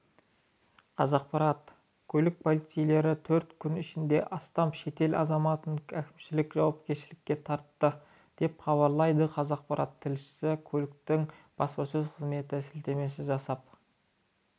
қазақпарат көлік полицейлері төрт күн ішінде астам шетел азаматын әкімшілік жауапкершілікке тартты деп хабарлайды қазақпарат тілшісі көліктегі баспасөз қызметіне сілтеме жасап